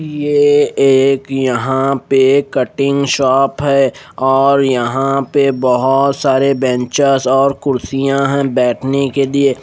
ये एक यहां पे कटिंग शॉप है और यहां पे बहोत सारे बेंचेस और कुर्सियां है बैठने के लिए।